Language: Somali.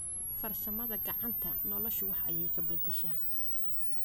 Farsamada kacanta noloshu wax aya kabadasha.